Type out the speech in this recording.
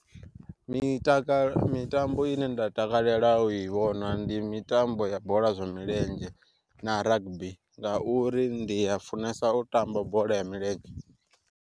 Mitakalo mitambo ine nda takalela u i vhona ndi mitambo ya bola ya milenzhe, na rugby nga uri ndi a funesa u tamba bola ya milenzhe.